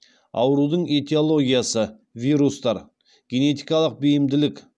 аурудың этиологиясы вирустар генетикалық бейімділік